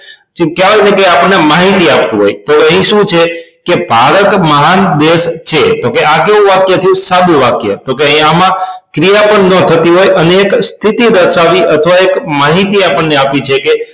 કેવાતું હોય છે કે આપણને માહિતી આપતું હોય તો એ શું છે કે ભારત મહાન દેશ છે તો કે આ કેવું વાક્ય થયું સાદું વાક્ય તો કે આમાં ક્રિયાપદ બંધ ન થતી હોય અને એક સ્થિતિ દર્શાવી અથવા એક માહિતી આપણને આપી છે કે